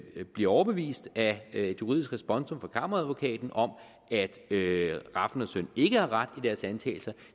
bliver overbevist af et juridisk responsum fra kammeradvokaten om at rafn søn ikke har ret i deres antagelser